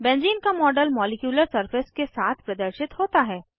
benzene का model molecular surface के साथ प्रदर्शित होता है